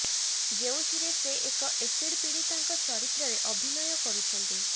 ଯେଉଁଥିରେ ସେ ଏକ ଏସିଡ୍ ପିଡ଼ୀତାଙ୍କ ଚରିତ୍ରରେ ଅଭିନୟ କରୁଛନ୍ତି